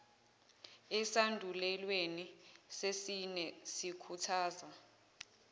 esandulelweni sesine sikhuthaza